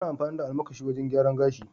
ana amfani da almakashi wajen gyaran gashi.l